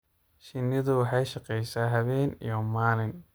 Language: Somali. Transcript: Shinnidu waxay shaqaysaa habeen iyo maalin.